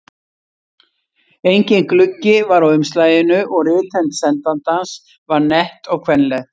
Enginn gluggi var á umslaginu og rithönd sendandans var nett og kvenleg.